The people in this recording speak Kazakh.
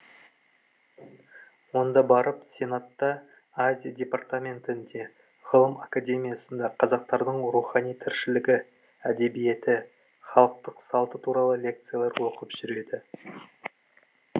онда барып сенатта азия департаментінде ғылым академиясында қазақтардың рухани тіршілігі әдебиеті халықтық салты туралы лекциялар оқып жүреді